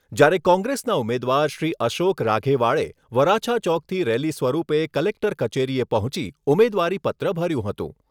જ્યારે કોંગ્રેસના ઉમેદવાર શ્રી અશોક રાઘેવાળે વરાછા ચોકથી રેલી સ્વરૂપે કલેક્ટર કચેરીએ પહોંચી ઉમેદવારીપત્ર ભર્યું હતું.